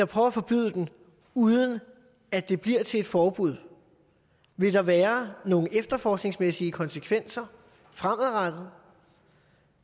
prøver at forbyde den uden at det bliver til et forbud vil der være nogle efterforskningsmæssige konsekvenser fremadrettet